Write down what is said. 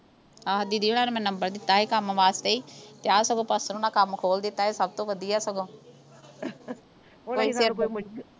ਆਹੋ ਦੀਦੀ ਹੁਣਾ ਨੇ ਮੈਨੂੰ ਨੰਬਰ ਦਿੱਤਾ ਸੀ ਕੰਮ ਵਾਸਤੇ ਈ ਤੇ ਆਹ ਸਗੋਂ ਪਾਸਟਰ ਹੁਣਾ ਕੰਮ ਖੋਲ ਦਿੱਤਾ ਇਹ ਸਭ ਤੋਂ ਵਧੀਆ ਸਗੋਂ